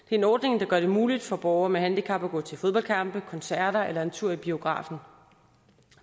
en ordning der gør det muligt for borgere med handicap at gå til fodboldkampe koncerter eller en tur i biografen